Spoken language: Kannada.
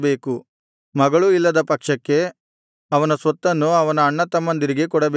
ಮಗಳೂ ಇಲ್ಲದ ಪಕ್ಷಕ್ಕೆ ಅವನ ಸ್ವತ್ತನ್ನು ಅವನ ಅಣ್ಣತಮ್ಮಂದಿರಿಗೆ ಕೊಡಬೇಕು